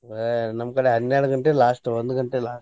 ನಮ್ಮ್ ಕಡೆ ಹನ್ನೆರಡ್ ಗಂಟೆ last ಒಂದ್ ಗಂಟೆ last .